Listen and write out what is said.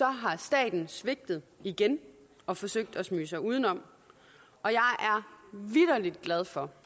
har staten svigtet igen og forsøgt at smyge sig udenom og jeg er vitterlig glad for